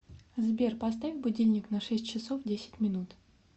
сбер поставь будильник на шесть часов десять минут